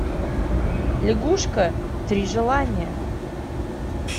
лягушка три желания